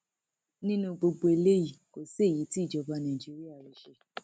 nínú gbogbo eléyìí kò sí èyí tí ìjọba nàìjíríà rí ṣe